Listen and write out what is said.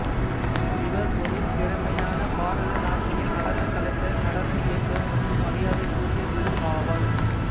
இவர் ஒரு திறமையான பாரதநாட்டிய நடனக் கலைஞர் நடன இயக்குநர் மற்றும் மரியாதைக்குரிய குரு ஆவார்